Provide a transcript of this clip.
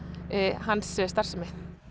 hans starfsemi